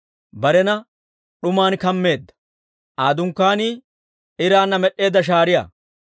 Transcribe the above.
Barena d'uman kammeedda; Aa dunkkaanii iraanna med'eedda shaariyaa.